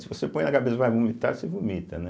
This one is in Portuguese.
Se você põe na cabeça que vai vomitar, você vomita, né?